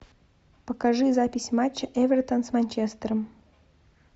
покажи запись матча эвертон с манчестером